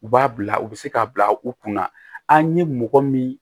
U b'a bila u bɛ se k'a bila u kunna an ye mɔgɔ min